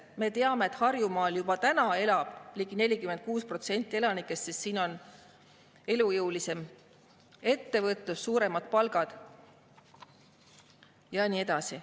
Me teame, et juba täna elab Harjumaal ligi 46% elanikest, sest siin on elujõulisem ettevõtlus, suuremad palgad ja nii edasi.